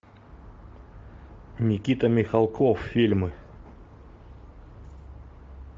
никита михалков фильмы